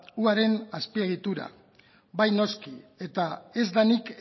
huaren azpiegitura bai noski eta ez da nik